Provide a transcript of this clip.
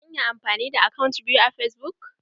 Zan iya amfani da akant biyu a fasbuk?